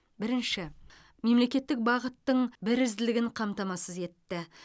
бірінші мемлекеттік бағыттың бірізділігін қамтамасыз етті